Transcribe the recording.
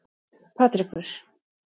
Patrekur